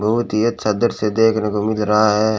बहुत ही अच्छा दृश्य देखने को मिल रहा है।